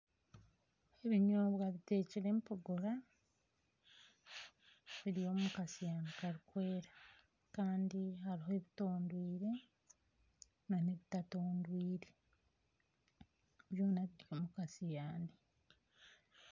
Ebinyobwa bitekyire empogora biri omu kasiyaani karikwera kandi hariho ebitondwire n'ebitatondwire, byona biri omu kasiyaani.